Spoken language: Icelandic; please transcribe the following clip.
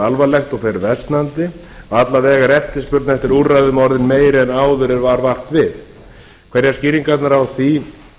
alvarlegt og fer versnandi alla vega er eftirspurn eftir úrræðum orðin meiri en áður en varð vart við skýringin á því